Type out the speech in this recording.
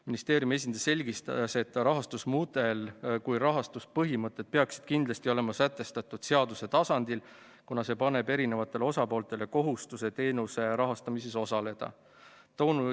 Ministeeriumi esindaja selgitas, et nii rahastusmudel kui ka rahastuspõhimõtted peaksid kindlasti olema sätestatud seaduse tasandil, kuna see paneb eri osapooltele kohustuse teenuse rahastamises osaleda.